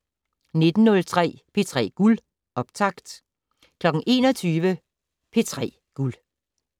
19:03: P3 Guld - optakt 21:00: P3 Guld